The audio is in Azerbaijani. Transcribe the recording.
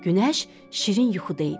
Günəş şirin yuxuda idi.